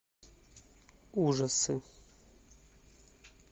ужасы